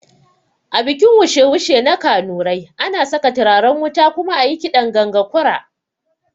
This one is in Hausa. A bikin wushe wushe na kanurai, ana saka turaren wuta kuma ayi kiɗan ganga kura